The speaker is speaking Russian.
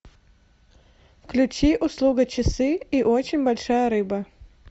включи услуга часы и очень большая рыба